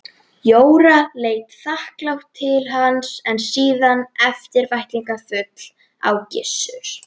Jóra leit þakklát til hans en síðan eftirvæntingarfull á Gissur.